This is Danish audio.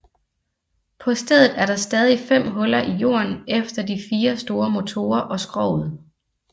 På stedet er der stadig fem huller i jorden efter de fire store motorer og skroget